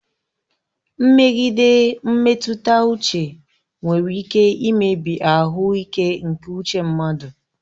Mmegide mmetụta uche nwere ike imebi ahụike nke uche mmadụ.